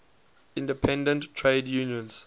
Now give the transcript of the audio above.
independent trade unions